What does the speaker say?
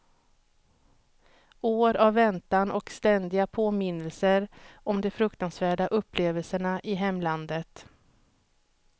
År av väntan och ständiga påminnelser om de fruktansvärda upplevelserna i hemlandet.